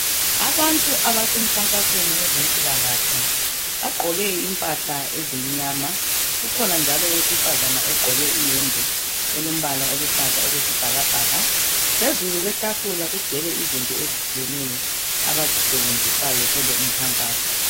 Abantu abasemkhankasweni wezempilakahle bagqoke impahla ezimnyama kukhona njalo owesifazana ogqoke iyembe elompala oluhlaza okwesibhakabhaka. Phezulu kwetafula kugcwele izinto ezitshiyeneyo abazisebenzisayo kulowo mkhankaso.